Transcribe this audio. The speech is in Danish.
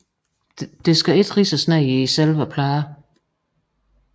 Der skal ikke ridses ned i selve pladen